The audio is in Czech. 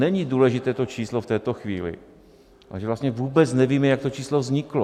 Není důležité to číslo v této chvíli, ale že vlastně vůbec nevíme, jak to číslo vzniklo.